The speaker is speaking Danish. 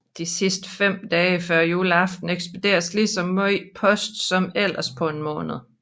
De sidste 5 dage før juleaften ekspederes lige så meget post som ellers på en måned